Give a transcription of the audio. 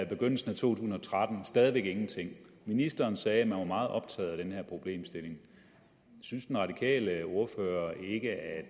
begyndelsen af 2013 stadig væk ingenting ministeren sagde at man er meget optaget af den her problemstilling synes den radikale ordfører ikke at